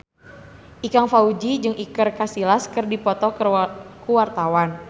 Ikang Fawzi jeung Iker Casillas keur dipoto ku wartawan